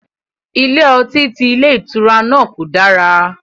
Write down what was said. Ilé ọtí ti ilé ìtura náà kò dára